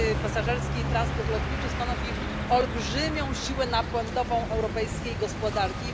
Pasażerski transport lotniczy stanowi olbrzymią siłę napędową europejskiej gospodarki.